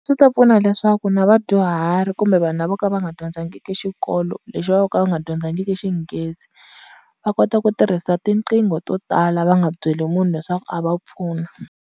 Swi ta pfuna leswaku na vadyuhari kumbe vanhu lavo ka va nga dyondzangiki xikolo, lexi va vo ka va nga dyondzangiki xinghezi, va kota ku tirhisa tinqingho to tala va nga byeli munhu leswaku a va pfuna.